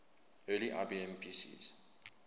early ibm pcs